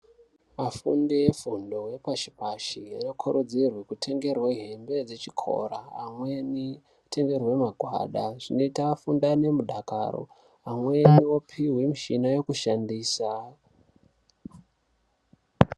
Afundi vefundo yepashi pashi anokurudzirwe kutengerwe hembe dzechikora amweni eitengerwe magwada zvinoita afunde ane mudakaro, amweni opihwe mishina yokushandisa.